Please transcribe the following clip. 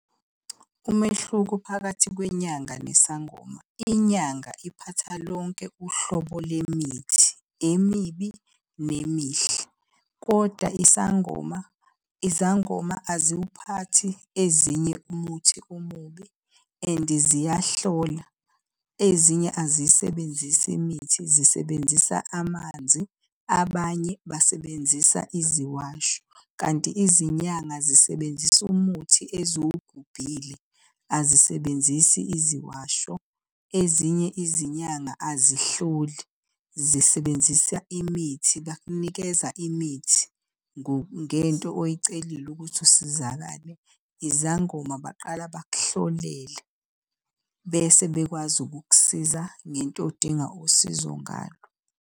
Umehluko phakathi kwenyanga nesangoma. Inyanga iphatha lonke uhlobo lemithi, emibi nemihle, koda isangoma izangoma aziwuphathi ezinye umuthi omubi and ziyahlola. Ezinye aziyisebenzisi imithi, zisebenzisa amanzi, abanye basebenzisa iziwasho. Kanti izinyanga zisebenzisa umuthi eziwugubhile, azisebenzisi iziwasho. Ezinye izinyanga azihloli, zisebenzisa imithi, bakunikeza imithi ngento oyicelile ukuthi usizakale. Izangoma baqala bakuhlolele bese bekwazi ukukusiza ngento odinga usizo ngayo.